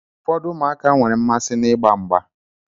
Ụfọdụ ụmụaka nwere mmasị n'igba ngba.